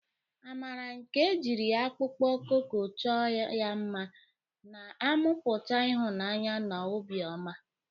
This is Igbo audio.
Amara, nke ejiri akpụkpọ koko chọọ ya mma, na-amụpụta ihunanya na obiọma.